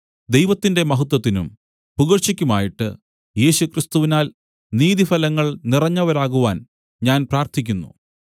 ദൈവത്തിന്റെ മഹത്വത്തിനും പുകഴ്ചയ്ക്കുമായിട്ട് യേശുക്രിസ്തുവിനാൽ നീതിഫലങ്ങൾ നിറഞ്ഞവരാകുവാൻ ഞാൻ പ്രാർത്ഥിക്കുന്നു